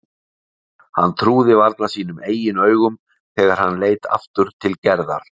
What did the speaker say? Hann trúði varla sínum eigin augum þegar hann leit aftur til Gerðar.